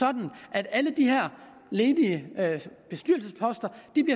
at alle de her ledige bestyrelsesposter